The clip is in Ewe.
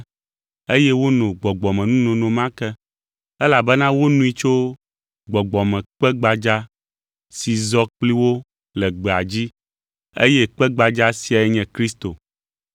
eye wono gbɔgbɔmenunono ma ke, elabena wonoe tso gbɔgbɔmekpe gbadza si zɔ kpli wo le gbea dzi, eye kpe gbadza siae nye Kristo.